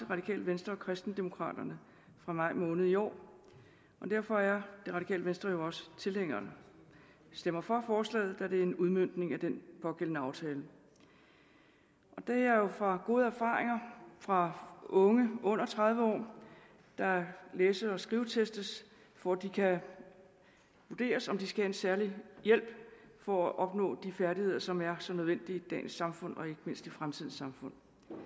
radikale venstre og kristendemokraterne fra maj måned i år og derfor er det radikale venstre jo også tilhængere af stemmer for forslaget da det er en udmøntning af den pågældende aftale det er jo ud fra gode erfaringer fra unge under tredive år der læse og skrivestestes for at det kan vurderes om de skal have en særlig hjælp for at opnå de færdigheder som er så nødvendige i dagens samfund og ikke mindst i fremtidens samfund